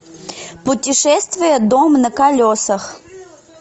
путешествие дом на колесах